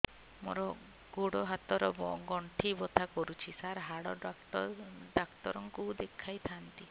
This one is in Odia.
ମୋର ଗୋଡ ହାତ ର ଗଣ୍ଠି ବଥା କରୁଛି ସାର ହାଡ଼ ଡାକ୍ତର ଙ୍କୁ ଦେଖାଇ ଥାନ୍ତି